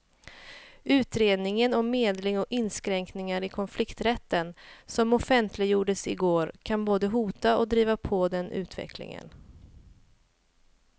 Utredningen om medling och inskränkningar i konflikträtten som offentliggjordes i går kan både hota och driva på den utvecklingen.